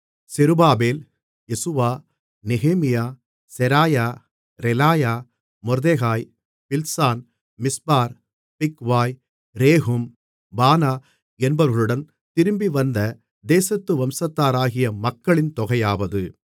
செருபாபேல் யெசுவா நெகேமியா செராயா ரெலாயா மொர்தெகாய் பில்சான் மிஸ்பார் பிக்வாய் ரேகூம் பானா என்பவர்களுடன் திரும்பிவந்த தேசத்து வம்சத்தாராகிய மக்களின் தொகையாவது